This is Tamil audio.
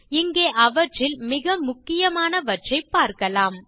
இங்கே அவற்றில் மிக முக்கியமாவற்றைப் பார்க்கலாம்